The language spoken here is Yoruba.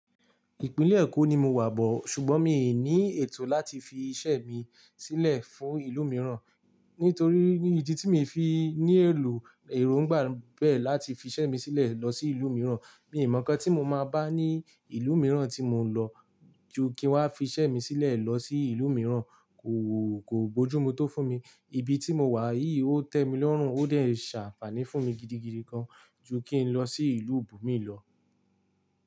Ìpínlẹ̀ Èkó ni mo wà bọ̀, ṣùgbọ́n mi ò ní ètò láti fi iṣẹ́ mi sílẹ̀ fún ìlú mìíràn. Nítorí ní idi tí mi fi ní èlò, èrò ń gbà bẹ́ẹ̀ láti fi iṣẹ́ mi sílẹ̀ lọ sí ìlú mìíràn. Mi mo nnkan ti mo maa ba ni ìlú míiràn ti mo nlo ju ki n wa f'ise mi sílè lo si ìlú míìràn. Kò, kò bójúmu tó fún mi, ibi tí mo wà yìí ó tẹ́ mi lọ́rùn, ó dẹ̀ ṣàǹfàní fún mi gidigidi gan, ju kí n lọ sí ìlú ibù mi lọ.